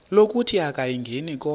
lokuthi akayingeni konke